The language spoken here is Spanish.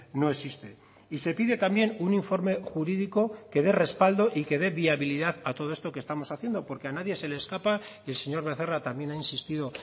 no existe y se pide también un informe jurídico que dé respaldo y que dé viabilidad a todo esto que estamos haciendo porque a nadie se le escapa y el señor becerra también ha insistido